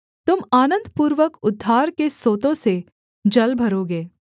तुम आनन्दपूर्वक उद्धार के सोतों से जल भरोगे